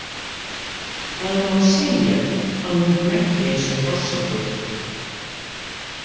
Það má segja að hún hneggi eins og hrossagaukur.